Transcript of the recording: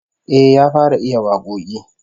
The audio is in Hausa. Eh, ya fara iya wakoki